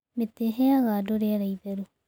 Mĩtĩ ĩheaga andũ rĩera itheru.